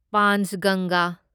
ꯄꯥꯟꯆꯒꯟꯒꯥ